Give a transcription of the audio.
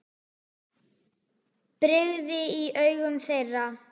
brigði í augum þeirra.